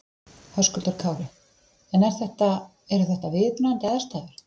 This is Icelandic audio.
Höskuldur Kári: En er þetta, eru þetta viðunandi aðstæður?